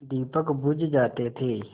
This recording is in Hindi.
दीपक बुझ जाते थे